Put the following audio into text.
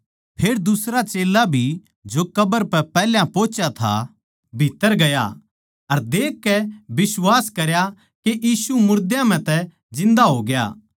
फेर दुसरा चेल्ला भी जो कब्र पै पैहल्या पोहुच्या था भीत्त्तर गया अर देखकै बिश्वास करया के यीशु मुर्दा म्ह तै जिन्दा होग्या